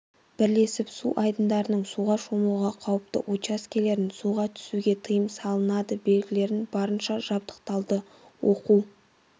бірлесіп су айдындарының суға шомылуға қауіпті учаскелерін суға түсуге тыйым салынады белгілерін барынша жабдықталды оқу